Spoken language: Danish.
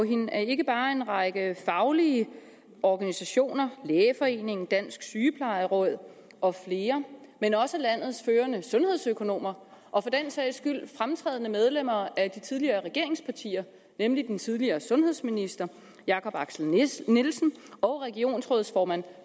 hende at ikke bare en række faglige organisationer lægeforeningen dansk sygeplejeråd og flere men også landets førende sundhedsøkonomer og for den sags skyld fremtrædende medlemmer af de tidligere regeringspartier nemlig den tidligere sundhedsminister jakob axel nielsen og regionsrådsformand